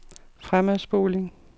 fremadspoling